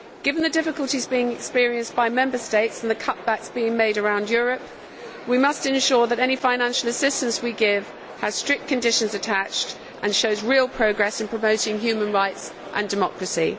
Given the difficulties being experienced by Member States and the cutbacks being made around Europe, we must ensure that any financial assistance we give has strict conditions attached and shows real progress in promoting human rights and democracy.